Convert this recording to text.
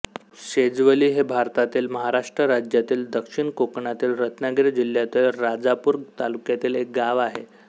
शेजवली हे भारतातील महाराष्ट्र राज्यातील दक्षिण कोकणातील रत्नागिरी जिल्ह्यातील राजापूर तालुक्यातील एक गाव आहे